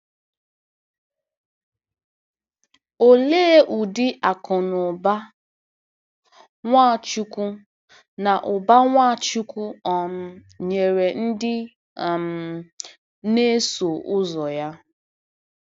Olee ụdị akụ̀ na ụba Nwachukwu na ụba Nwachukwu um nyere ndị um na-eso ụzọ ya?